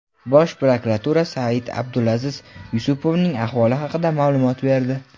Bosh prokuratura Said-Abdulaziz Yusupovning ahvoli haqida ma’lumot berdi.